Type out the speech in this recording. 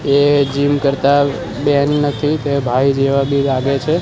એ gym કરતા બેન નથી બે ભાઈ જેવા બે લાગે છે.